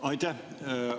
Aitäh!